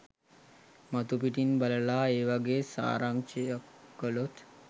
මතුපිිටින් බලලා ඒ වගේ සාරාංශයක් කළොත්